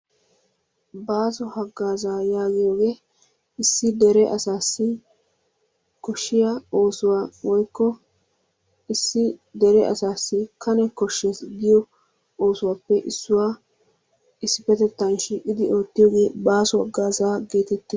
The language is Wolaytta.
Baaso haggaazaa yaagiyoogee issi dere asaassi koshshiya oosuwa woykko issi dere asaassi Kane kosheettees giyo oosuwappe issuwa, issippetettan shiiqqidi ootiyoggee baaso haggaazaa gettettees.